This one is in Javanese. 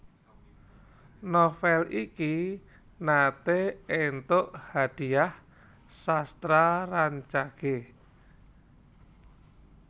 Novel iki naté éntuk Hadhiah Sastra Rancage